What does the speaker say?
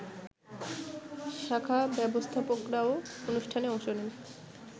শাখা ব্যবস্থাপকরাও অনুষ্ঠানে অংশ নেন